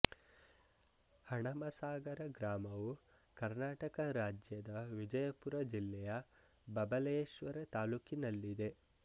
ಹಣಮಸಾಗರ ಗ್ರಾಮವು ಕರ್ನಾಟಕ ರಾಜ್ಯದ ವಿಜಯಪುರ ಜಿಲ್ಲೆಯ ಬಬಲೇಶ್ವರ ತಾಲ್ಲೂಕಿನಲ್ಲಿದೆ